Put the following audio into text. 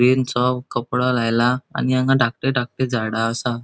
कपडो लायला आणि हांगा धाकटे धाकटे झाडा आसा.